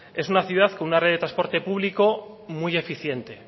es una ciudad con una red de transporte público muy eficiente